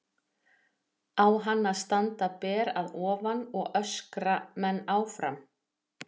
Á hann að standa ber að ofan og öskra menn áfram?